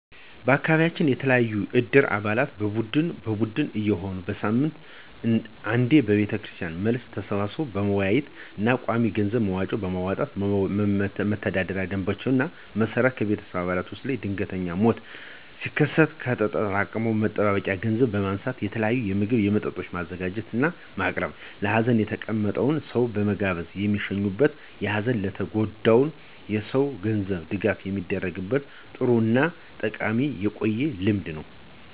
በአካቢያችን የተለያዩ የእድር አባላት በቡድን በቡድን እየሆኑ በሳምንት አንዴ ከቤተክርስቲያን መልስ ተሰባስበው በመወያየት እና ቋሚ የገንዘብ መዋጮ በማዋጣት በመተዳደሪያ ደምባቸው መሰረት ከቤተሰብ አባላት ውስጥ ድንገተኛ ሞት ሲከሰት ከተጠራቀመ መጠባበቂያ ገንዘብ በማንሳት የተለያየ ምግብ እና መጠጦች በማዘጋጀት (በማቅረብ) ለሀዘን የተቀመጠውን ሰው በመጋበዝ የሚሸኙበት እና በሀዘን ለተጎዳው ሰው የገንዘብ ድጋፍ የሚደረግበት ጥሩ እና ጠቃሚ የቆየ ልምድ ነው።